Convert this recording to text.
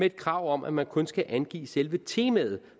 et krav om at man kun skal angive selve temaet